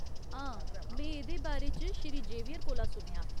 हां, में एह्दे बारे च श्री जेवियर कोला सुनेआ।